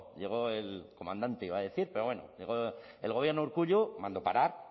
llegó el comandante iba a decir pero bueno el gobierno de urkullu mandó parar